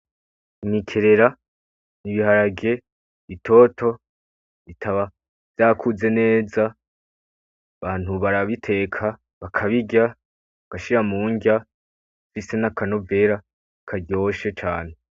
Imikerera n' ibiharage bitoto bitaba vyakuze neza, abantu barabiteka bakabirya, bagashira mu nrya, bifise n'akanovera karyoshe cane.